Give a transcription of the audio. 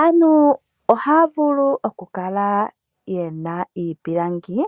Aantu ohaya vulu oku kala yena iipulangi